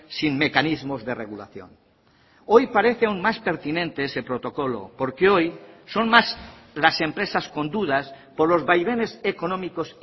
sin mecanismos de regulación hoy parece aún más pertinente ese protocolo porque hoy son más las empresas con dudas por los vaivenes económicos